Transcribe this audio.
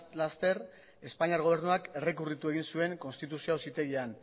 laster espainiar gobernuak errekurritu egin zuen konstituzio auzitegian